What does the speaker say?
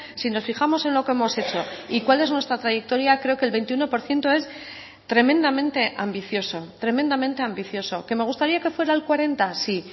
si nos fijamos en lo que hemos hecho y cuál es nuestra trayectoria creo que el veintiuno por ciento es tremendamente ambicioso tremendamente ambicioso qué me gustaría que fuera el cuarenta sí